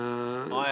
Aeg on läbi!